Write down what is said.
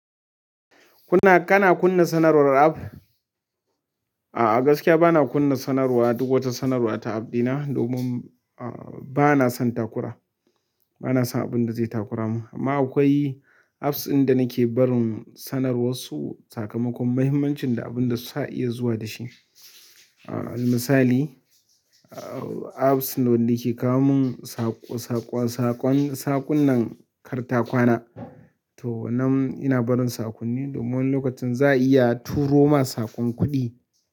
Kuna, kana kunna sanarwar app? A'a, gaskiya bana kunna sanarwa duk wata sanarwa ta app dina domin, a, bana son takura. Bana son abunda zai takura mun. Amma akwai apps ɗin da nike barin sanarwar sakamakon muhimmancin da abunda sa iya zuwa da shi. A, na misali, a, apps na wanda yake kawo mun saƙo, saƙon, saƙon, saƙunan kartakwana. Toh, nan ina barin saƙonni domin lokacin za'iya turo ma saƙon kuɗi.